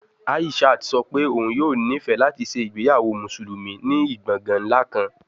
Aishat sọ pe oun yoo nifẹ lati ṣe igbeyawo Musulumi ni gbongan nla kan